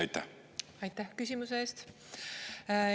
Aitäh küsimuse eest!